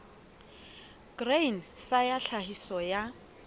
grain sa ya tlhahiso ya